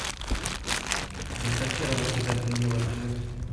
до скольки работает ателье в отеле